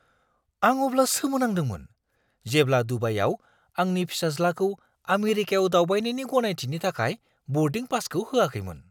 आं अब्ला सोमोनांदोंमोन जेब्ला दुबाईआव आंनि फिसाज्लाखौ आमेरिकायाव दावबायनायनि गनायथिनि थाखाय बर्डिं पासखौ होआखैमोन।